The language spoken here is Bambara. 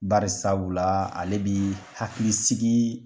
Barisabu la ale bɛ hakili sigi